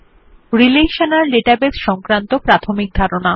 relational database সংক্রান্ত প্রাথমিক ধারণা